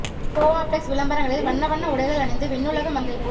கோ app டெக்ஸ் விளம்பரங்களில் வண்ண வண்ண உடைகள் அணிந்து விண்ணுலக மங்கை போல்